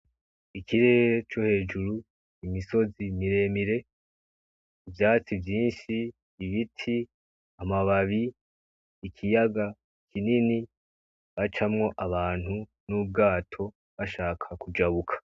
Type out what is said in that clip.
Ikirere co hejuru, imisozi miremire, ivyatsi vyinshi, ibiti, amababi, ikiyaga kinini hacamwo abantu nubwato bashaka kujabuka.